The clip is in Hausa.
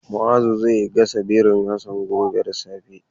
Ma'azu zai gasa birin Hassan gobe da safe.